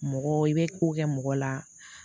Mɔgɔ i bɛ ko kɛ mɔgɔ la